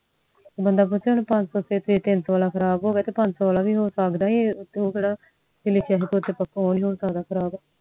ਬੰਦਾ ਪੁੱਛੇ ਜੇ ਤਿਨਸੋ ਵਾਲਾ ਖਰਾਬ ਹੋਗਿਆ ਤਾ ਪੰਜ ਸੋ ਵਾਲਾ ਵੀ ਹੋ ਸਕਦਾ ਏ ਆ ਉਹ ਕਿਹੜਾ ਹੋਣੀ ਨੀ ਖਰਾਬ